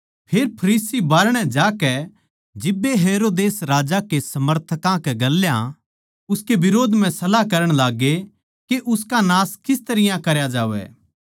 फेर फरीसी बाहरणै जाकै जिब्बे हेरोदेस राजा के समर्थकां कै गेल्या उसकै बिरोध म्ह सलाह करण लाग्गे के उसका नाश किस तरियां करया जावै